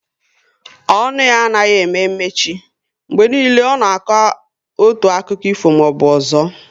Ọnụ ya anaghị eme mechi, mgbe niile ọ nọ na akọ otu akiko ifo maọbụ ọzọ